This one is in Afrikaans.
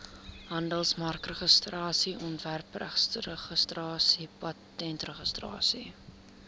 handelsmerkregistrasie ontwerpregistrasie patentregistrasie